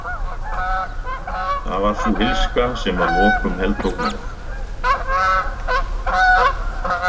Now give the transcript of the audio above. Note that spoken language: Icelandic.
Það var sú illska sem að lokum heltók mig.